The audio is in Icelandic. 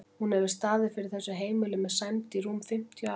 Hún hefur staðið fyrir þessu heimili með sæmd í rúm fimmtíu ár.